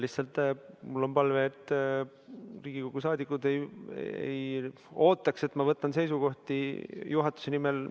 Lihtsalt mul on palve, et Riigikogu liikmed ei ootaks, et ma võtan seisukohti juhatuse nimel.